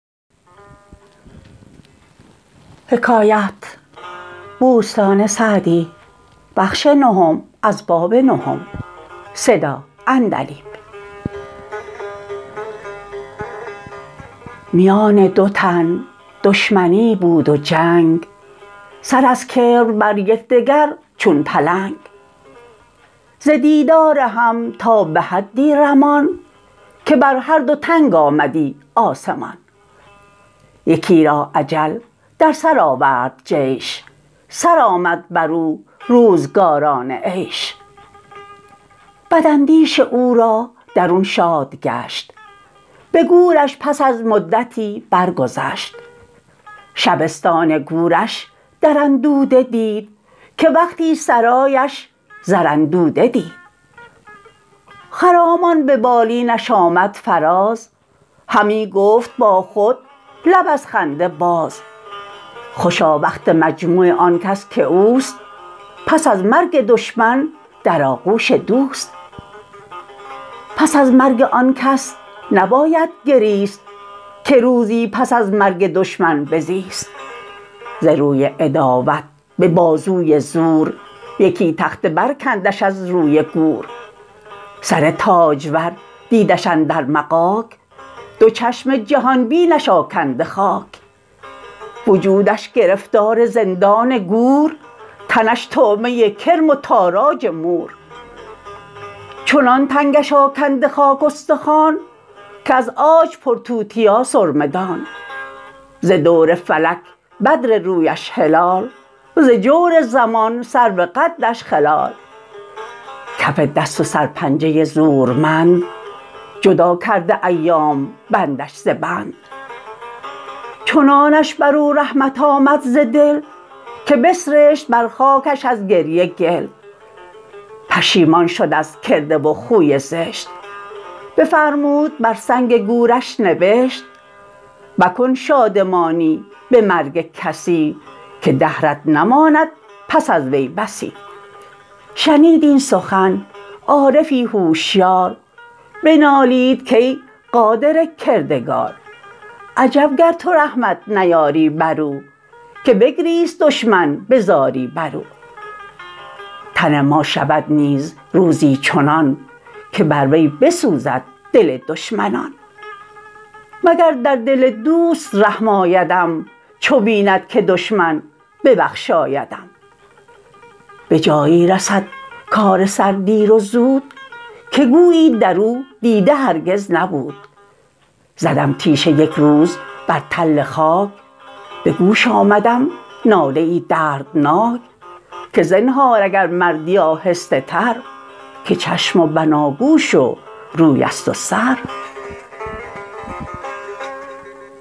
میان دو تن دشمنی بود و جنگ سر از کبر بر یکدگر چون پلنگ ز دیدار هم تا به حدی رمان که بر هر دو تنگ آمدی آسمان یکی را اجل در سر آورد جیش سرآمد بر او روزگاران عیش بداندیش او را درون شاد گشت به گورش پس از مدتی برگذشت شبستان گورش در اندوده دید که وقتی سرایش زر اندوده دید خرامان به بالینش آمد فراز همی گفت با خود لب از خنده باز خوشا وقت مجموع آن کس که اوست پس از مرگ دشمن در آغوش دوست پس از مرگ آن کس نباید گریست که روزی پس از مرگ دشمن بزیست ز روی عداوت به بازوی زور یکی تخته برکندش از روی گور سر تاجور دیدش اندر مغاک دو چشم جهان بینش آکنده خاک وجودش گرفتار زندان گور تنش طعمه کرم و تاراج مور چنان تنگش آکنده خاک استخوان که از عاج پر توتیا سرمه دان ز دور فلک بدر رویش هلال ز جور زمان سرو قدش خلال کف دست و سرپنجه زورمند جدا کرده ایام بندش ز بند چنانش بر او رحمت آمد ز دل که بسرشت بر خاکش از گریه گل پشیمان شد از کرده و خوی زشت بفرمود بر سنگ گورش نبشت مکن شادمانی به مرگ کسی که دهرت نماند پس از وی بسی شنید این سخن عارفی هوشیار بنالید کای قادر کردگار عجب گر تو رحمت نیاری بر او که بگریست دشمن به زاری بر او تن ما شود نیز روزی چنان که بر وی بسوزد دل دشمنان مگر در دل دوست رحم آیدم چو بیند که دشمن ببخشایدم به جایی رسد کار سر دیر و زود که گویی در او دیده هرگز نبود زدم تیشه یک روز بر تل خاک به گوش آمدم ناله ای دردناک که زنهار اگر مردی آهسته تر که چشم و بناگوش و روی است و سر